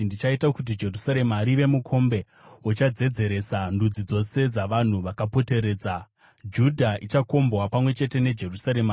“Ndichaita kuti Jerusarema rive mukombe uchadzedzeresa ndudzi dzose dzavanhu vakapoteredza. Judha ichakombwa pamwe chete neJerusarema.